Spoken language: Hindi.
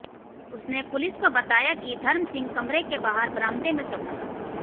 उसने पुलिस को बताया कि धर्म सिंह कमरे के बाहर बरामदे में सोता था